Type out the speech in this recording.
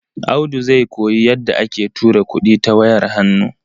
Audu zai koyi yadda ake tura kuɗi ta wayar hannu.